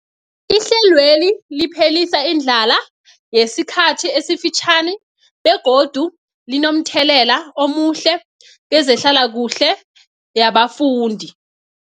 Ihlelweli liphelisa indlala yesikhathi esifitjhani begodu linomthelela omuhle kezehlalakuhle yabafundi.